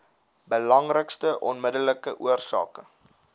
belangrikste onmiddellike oorsake